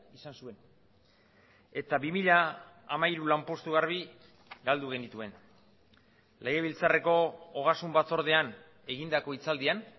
izan zuen eta bi mila hamairu lanpostu garbi galdu genituen legebiltzarreko ogasun batzordean egindako hitzaldian